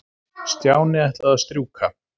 Stjáni ætlaði að strjúka.